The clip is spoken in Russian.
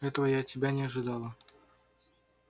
этого я от тебя не ожидала